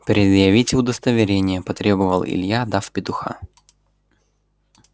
предъявите удостоверение потребовал илья дав петуха